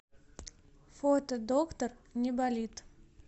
фото доктор неболит